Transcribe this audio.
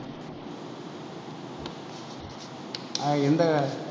அஹ் எந்த